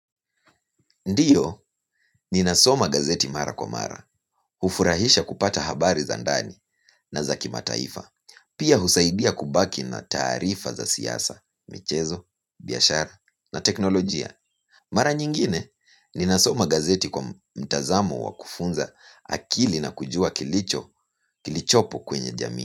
Ndiyo, ninasoma gazeti mara kwa mara, hufurahisha kupata habari za ndani na za kimataifa, pia husaidia kubaki na taarifa za siasa, michezo, biashara na teknolojia. Mara nyingine, ninasoma gazeti kwa mtazamo wa kufunza akili na kujua kilichopo kwenye jamii.